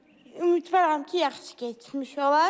Ümidvaram ki, yaxşı keçmiş olar.